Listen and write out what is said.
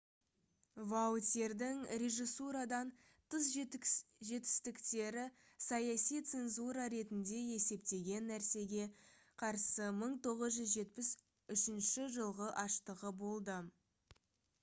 ваутьердің режиссурадан тыс жетістіктері саяси цензура ретінде есептеген нәрсеге қарсы 1973 жылғы аштығы болды